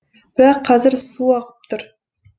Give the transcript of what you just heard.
бірақ қазір су ағып тұр